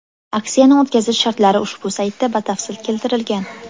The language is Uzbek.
Aksiyani o‘tkazish shartlari ushbu saytda batafsil keltirilgan.